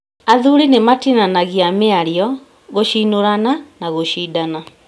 Athuri nĩmatinanagia mĩario, gũshinũrana na gũshindana